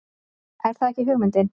Er það ekki hugmyndin?